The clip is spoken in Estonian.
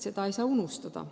Seda ei tohi unustada.